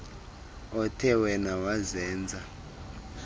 othe wena wazenza